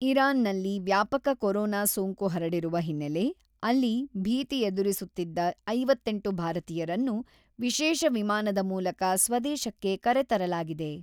ಇರಾನ್‌ನಲ್ಲಿ ವ್ಯಾಪಕ ಕೊರೋನಾ ಸೋಂಕು ಹರಡಿರುವ ಹಿನ್ನೆಲೆ, ಅಲ್ಲಿ ಭೀತಿ ಎದುರುಸುತ್ತಿದ್ದ ಐವತ್ತೆಂಟು ಭಾರತೀಯರನ್ನು ವಿಶೇಷ ವಿಮಾನದ ಮೂಲಕ ಸ್ವದೇಶಕ್ಕೆ ಕರೆತರಲಾಗಿದೆ.